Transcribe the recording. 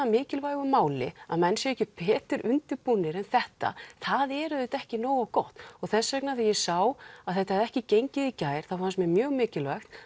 mikilvægu máli að menn séu ekki betur undirbúnir en þetta það er auðvitað ekki nógu gott þess vegna þegar ég sá að þetta hefði ekki gengið í gær þá fannst mér mjög mikilvægt